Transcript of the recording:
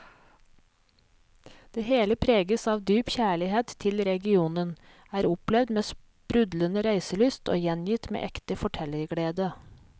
Det hele preges av dyp kjærlighet til regionen, er opplevd med sprudlende reiselyst og gjengitt med ekte fortellerglede.